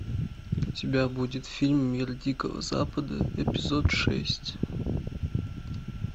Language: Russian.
у тебя будет фильм мир дикого запада эпизод шесть